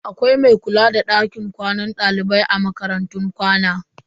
Akwai mai kula da dakin kwanan dalibai a makarantun kwana.